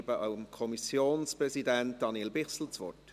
Ich gebe dem Kommissionspräsidenten, Daniel Bichsel, das Wort.